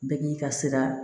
Bɛɛ k'i ka sira